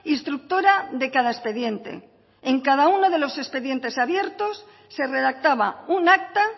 instructora de cada expediente en cada uno de los expedientes abiertos se redactaba un acta